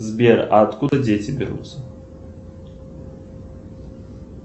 сбер а откуда дети берутся